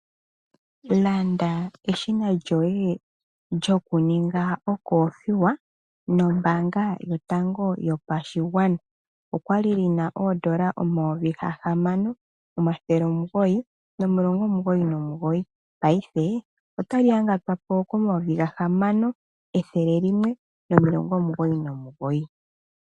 Landa eshina lyoye lyoku ninga okoothiwa nombaanga yotango yopashigwana. Okwa li li na oondola 6999 paife otali yangatwa po ko N$ 6199.